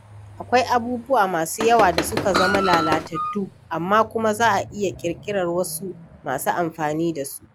Akwai abubuwa masu yawa da suka zama lalatattu amma kuma za a iya ƙirƙirar wasu masu amfani da su.